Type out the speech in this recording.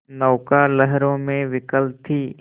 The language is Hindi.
नौका लहरों में विकल थी